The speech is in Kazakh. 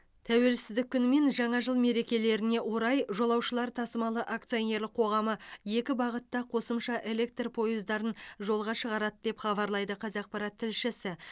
тәуелсіздік күні мен жаңа жыл мерекелеріне орай жолаушылар тасымалы акционерлік қоғамы екі бағытта қосымша электр пойыздарын жолға шығарады деп хабарлайды қазақпарат тілшісі